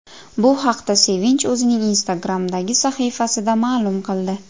Bu haqda Sevinch o‘zining Instagram’dagi sahifasida ma’lum qildi.